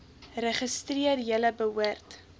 registreer julle behoort